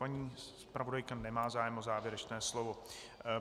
Paní zpravodajka nemá zájem o závěrečné slovo.